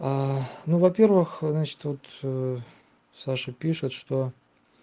ну во-первых значит тут саша пишет что